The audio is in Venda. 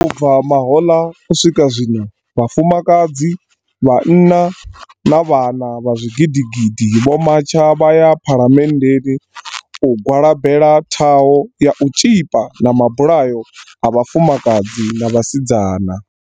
U bva mahoḽa, u swi ka zwino, vhafumakadzi, vhanna na vhana vha zwigidigidi vho matsha vha ya phalamenndeni u gwalabela ṱhaho ya u tzhipa na mabulayo a vhafumakadzi na vhasidzana.